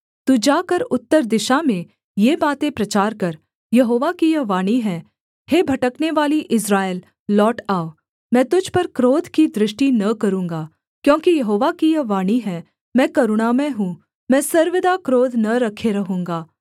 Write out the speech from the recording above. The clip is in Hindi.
तू जाकर उत्तर दिशा में ये बातें प्रचार कर यहोवा की यह वाणी है हे भटकनेवाली इस्राएल लौट आ मैं तुझ पर क्रोध की दृष्टि न करूँगा क्योंकि यहोवा की यह वाणी है मैं करुणामय हूँ मैं सर्वदा क्रोध न रखे रहूँगा